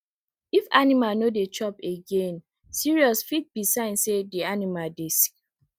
if animal no dey chop againe seriousfit be sign say dey animal dey sick